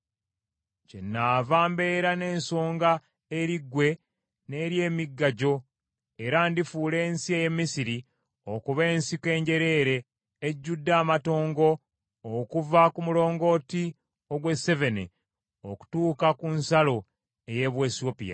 kyennaava mbeera n’ensonga eri ggwe n’eri emigga gyo, era ndifuula ensi ey’e Misiri okuba ensiko enjereere ejjudde amatongo okuva ku mulongooti ogw’e Sevene okutuuka ku nsalo ey’e Buwesiyopya.